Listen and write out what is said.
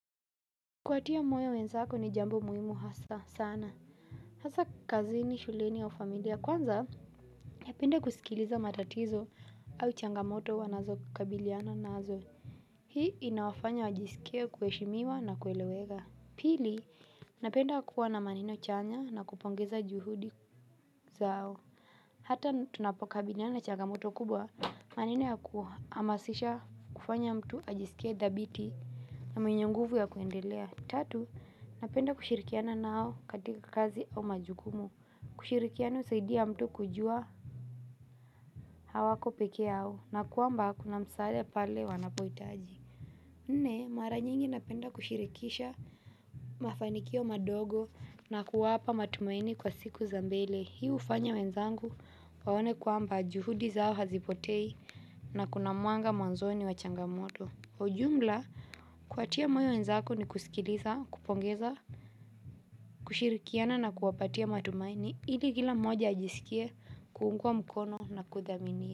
Kuwatia moyo wenzako ni jambo muhimu hasa sana. Hasa kazini, shuleni au familia. Kwanza, napenda kusikiliza matatizo au changamoto wanazokabiliana nazo. Hii inawafanya wajisikie kuheshimiwa na kueleweka. Pili, napenda kuwa na maneno chanya na kupongeza juhudi zao. Hata tunapokabiliana na changamoto kubwa maneno ya kuhamasisha kufanya mtu ajisikie dhabiti na mwenye nguvu ya kuendelea. Tatu, napenda kushirikiana nao katika kazi au majukumu, kushirikiana husaidia mtu kujua, hawako pekeyao, na kwamba kuna msaada pale wanapohitaji. Nne, mara nyingi napenda kushirikisha mafanikio madogo na kuwapa matumaini kwa siku za mbele. Hii hufanya wenzangu waone kwamba juhudi zao hazipotei na kuna mwanga mwanzoni wa changamoto. Ujumla, kuwatia moyo wenzako ni kusikiliza, kupongeza. Kushirikiana na kuwapatia matumaini, ili kila moja ajisikia kuungwa mkono na kuthaminiwa.